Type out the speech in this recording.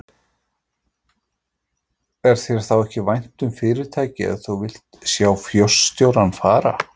Er þér þá ekki vænt um fyrirtækið ef þú vilt sjá forstjórann fara?